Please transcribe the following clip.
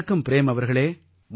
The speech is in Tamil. வணக்கம் ப்ரேம் அவர்களே